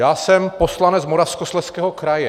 Já jsem poslanec Moravskoslezského kraje.